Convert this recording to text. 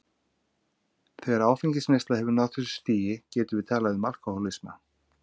Þegar áfengisneysla hefur náð þessu stigi getum við talað um alkohólisma.